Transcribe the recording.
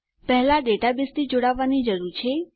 પહેલા ડેટાબેઝથી જોડાવાની જરૂર છે